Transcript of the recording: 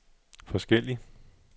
forskellig